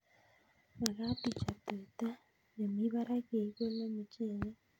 Magat ichop tuta ne mi parak ye ikole muchelek